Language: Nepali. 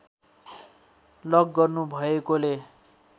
लक गर्नु भएकोले